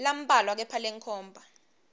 lambalwa kepha lenkhomba